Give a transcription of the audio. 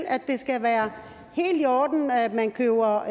at det skal være helt i orden at man køber